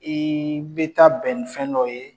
Ee bɛ taa bɛn ni fɛn dɔ ye